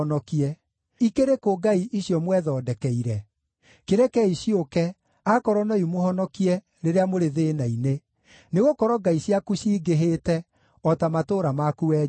Ikĩrĩ kũ ngai icio mwethondekeire? Kĩrekei ciũke, aakorwo no imũhonokie rĩrĩa mũrĩ thĩĩna-inĩ! Nĩgũkorwo ngai ciaku cingĩhĩte o ta matũũra maku, wee Juda.